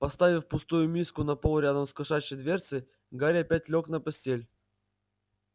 поставив пустую миску на пол рядом с кошачьей дверцей гарри опять лёг на постель